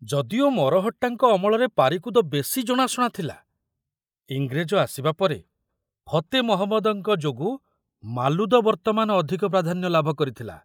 ଯଦିଓ ମରହଟ୍ଟାଙ୍କ ଅମଳରେ ପାରିକୁଦ ବେଶି ଜଣାଶୁଣା ଥୁଲା, ଇଂରେଜ ଆସିବା ପରେ ଫତେ ମହମ୍ମଦଙ୍କ ଯୋଗୁ ମାଲୁଦ ବର୍ତ୍ତମାନ ଅଧିକ ପ୍ରାଧାନ୍ୟ ଲାଭ କରିଥିଲା।